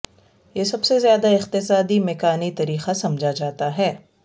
یہ سب سے زیادہ اقتصادی میکانی طریقہ سمجھا جاتا ہے